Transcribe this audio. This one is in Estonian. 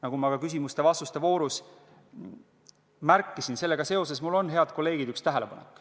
Nagu ma ka küsimuste-vastuste voorus märkisin, sellega seoses mul on, head kolleegid, üks tähelepanek.